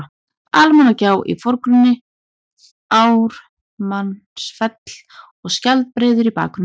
Almannagjá í forgrunni, Ármannsfell og Skjaldbreiður í bakgrunni.